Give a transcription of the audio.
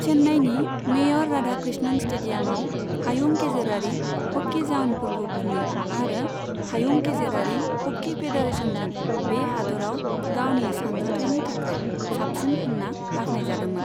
चेन्नाईनि मेयर राधाकृष्णन स्टेडियामआव हायुं गेजेरारि ह'कि जाउनफोरखौ खुङो आरो हायुं गेजेरारि ह'कि फेडारेशनजों बे हादोराव गावनि सानज'थाइनि थाखाय साबसिन होनना बाखनायजादोंमोन।